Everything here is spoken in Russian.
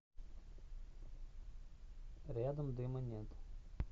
рядом дыма нет